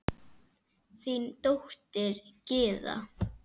Þín dóttir, Gyða.